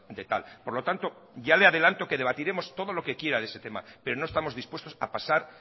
de tal por lo tanto ya le adelanto que debatiremos todo lo que quiera de ese tema pero no estamos dispuestos a pasar